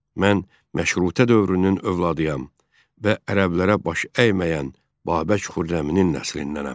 Mən məşrutə dövrünün övladıyam və əyənlərə baş əyməyən Babək Xürrəminin nəslindəndirəm.